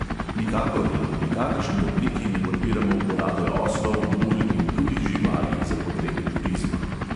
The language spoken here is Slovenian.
Nikakor in v nikakršni obliki ne podpiramo uporabe oslov, mul in drugih živali za potrebe turizma.